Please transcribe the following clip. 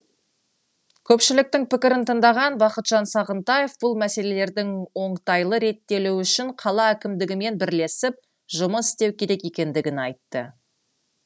көпшіліктің пікірін тыңдаған бақытжан сағынтаев бұл мәселелердің оңтайлы реттелуі үшін қала әкімдігімен бірлесіп жұмыс істеу керек екендігін айтты